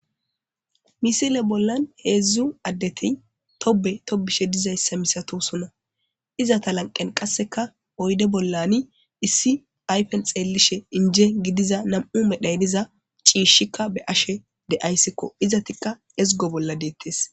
Misile bollan heedzdzu addeti tobe tobishe dizayssa misato sona izata lanqen qasseka oyde bollani issi ayfen xeellishe inje gidiza nam7u medhayniza ciishshikka be ashe de ayssikko izatikka ezgo bolla deettes.